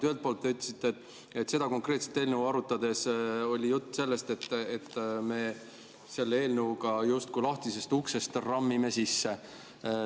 Ühelt poolt te ütlesite, et seda konkreetset eelnõu arutades oli juttu sellest, et me selle eelnõuga justkui rammime lahtisest uksest sisse.